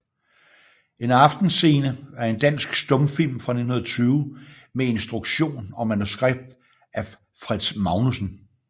En Aftenscene er en dansk stumfilm fra 1920 med instruktion og manuskript af Fritz Magnussen